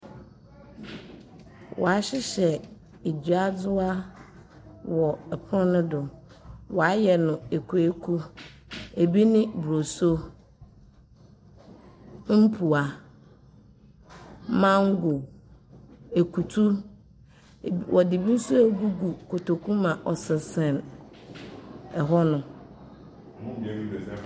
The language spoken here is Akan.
Wa hyehyɛ eduadzewa wɔ ɛpon no do. Wa yɛ no ekuw ekuwo ebi ne broso, mpua, mangow ekutu. Wɔdzi be so egugu kotoku mu a ɔsensen ɛhɔ nom.